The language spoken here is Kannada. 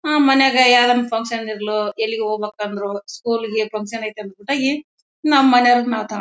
ಆ ಮನೆಯಾಗೆ ಯಾವುದಾದರೊಂದು ಫಂಕ್ಷನ್ ಇರ್ಲೊ ಎಲ್ಲಿ ಹೋಗ್ಬೇಕಂದ್ರು ಸ್ಕೂಲ್ ಗೆ ಫಂಕ್ಷನ್ ಐತೆ ಅಂಬಿಟ್ಟು ನಮ್ಮ್ ಮನೆಯವರನ್ನ ನಾವ್ ತಾ--